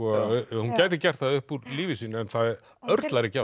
hún gæti gert það upp úr lífi sínu en það örlar ekki á